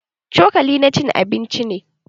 Cokali na cin abinci ne.